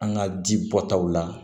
An ka ji bɔtaw la